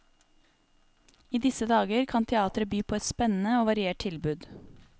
I disse dager kan teateret by på et spennende og variert tilbud.